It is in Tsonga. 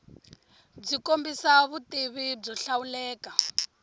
byi kombisa vutivi byo hlawuleka